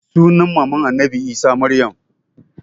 Sunan maman annabi isa maryam